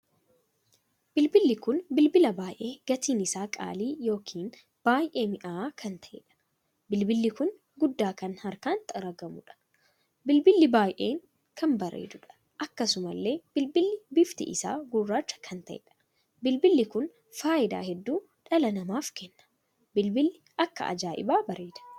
Bilbilli kun bilbila baay'ee gatiin isaa qaalii ykn baay'ee minya'a kan taheedha. bilbilli kun guddaa kan harkaan xaragamuudha. bilbilli baay'ee kan bareedduudha. akkasumallee bilbilli bifti isaa gurraacha kan taheedha. bilbilli kun faayidaa hedduu dhala namaaf kenna. bilbilli akka ajaa'ibaa bareeda!